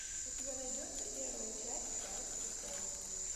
у тебя найдется первая часть гравити фолз